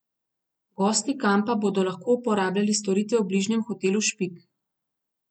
Gosti kampa bodo lahko uporabljali storitve v bližnjem hotelu Špik.